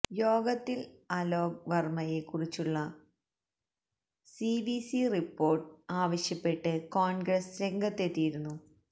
യോഗത്തില് അലോക് വര്മയെ കുറിച്ചുള്ള സിവിസി റിപ്പോര്ട്ട് ആവശ്യപ്പെട്ട് കോണ്ഗ്രസ് രംഗത്തെത്തിയിരുന്നു